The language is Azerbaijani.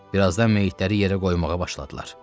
Birazdan meyitləri yerə qoymağa başladılar.